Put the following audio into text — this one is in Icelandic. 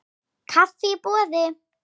Kaffi í boði.